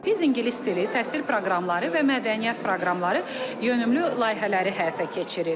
Biz ingilis dili, təhsil proqramları və mədəniyyət proqramları yönümlü layihələri həyata keçiririk.